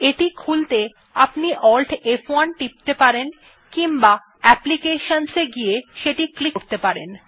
এটি খুলতে আপনি AltF1 টিপতে পারেন কিম্বা অ্যাপ্লিকেশনস এ গিয়ে সেটি ক্লিক করতে পারেন